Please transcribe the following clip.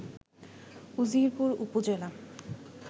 উজিরপুর উপজেলা